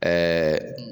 Ɛɛ